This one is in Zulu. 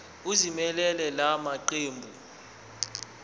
ezimelele la maqembu